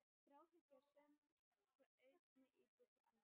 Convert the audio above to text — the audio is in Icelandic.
Þráhyggja er söm frá einni íbúð til annarrar.